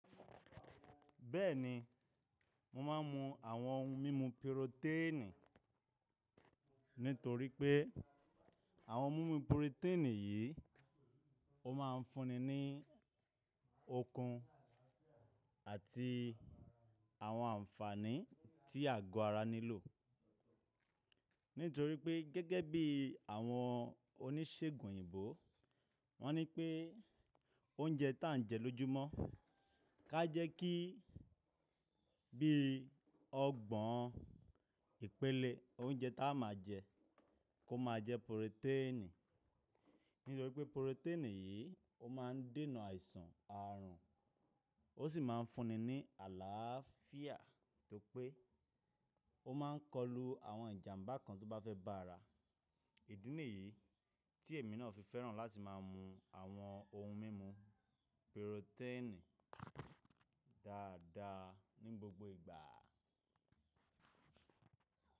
Bẹ́ẹ̀ni, mo máa ń mu àwọn ohun mímu purotẹ́ẹ̀nì nítorí pé àwọn ohun mímu purotẹ́ẹ̀nì yìí ó máa ń fúnni ní okun àti àwọn ànfàní tí àgọ́ ara nílò. Nítorí pé gẹ́gẹ́ bí àwọn oníṣègùn òyìnbó wọ́n ní pé oúnjẹ tí à ń jẹ lójoojúmọ́, ká jẹ́ kí bí ọgbọ́n ìpele oúnjẹ tí a máa jẹ kó máa jẹ purotẹ́ẹ̀nì. Nítorí pé purotẹ́ẹ̀nì yìí ó máa ń dènà àìsàn àrùn ó sì máa ń fúnni ní àlàáfíà, to pé ó máa ń kọlu àwọn ìjàmbá kan tó bá fẹ́ bá ara. Ìdí nìyí tí èmi náà fi fẹ́ràn láti má a mu àwọn ohun mímu purotẹ́ẹ̀nì dáadáa ní gbogbo ìgbà.